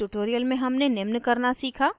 इस tutorial में हमने निम्न करना सीखा